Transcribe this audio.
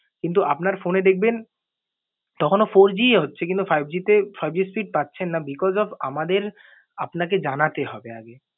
কিন্তু আপনার phone এ দেখবেন তখনও four G ই হচ্ছে কিন্তু five G তে five G speed পাচ্চেন না। Because of আমাদের আপনাকে জানাতে হবে আগে।